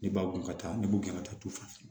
Ne b'a gan ka taa ne b'u gɛn ka taa du fɛ